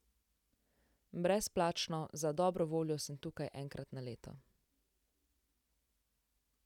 Brezplačno: 'Za dobro voljo sem tukaj enkrat na leto.